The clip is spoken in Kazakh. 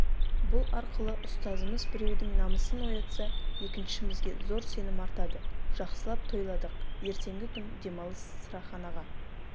бұл арқылы ұстазымыз біреудің намысын оятса екіншімізге зор сенім артады жақсылап тойладық ертеңгі күн демалыс сыраханаға